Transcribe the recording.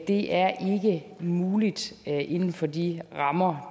det er ikke muligt inden for de rammer